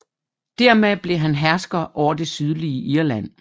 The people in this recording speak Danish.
Dermed blev han hersker over det sydlige Irland